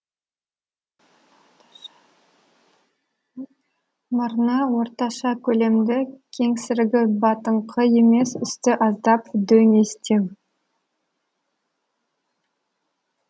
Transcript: мұрны орташа көлемді кеңсірігі батыңқы емес үсті аздап дөңестеу